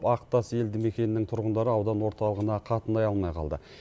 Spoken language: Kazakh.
ақтас елді мекеннің тұрғындары аудан орталығына қатынай алмай қалды